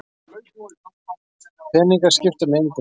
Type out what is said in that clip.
Peningar skipta mig engu máli.